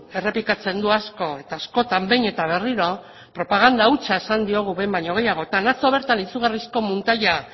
errepikatzen du asko eta askotan behin eta berriro propaganda hutsa esan diogu behin baino gehiagotan atzo bertan izugarrizko muntaia